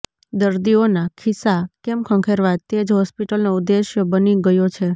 દર્દીઓના ખિસ્સા કેમ ખંખેરવા તે જ હોસ્પિટલનો ઉદ્દેશ બની ગયો છે